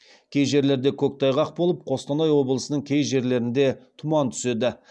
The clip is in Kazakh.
кей жерлерде көктайғақ болып қостанай облысының кей жерлерінде тұман түседі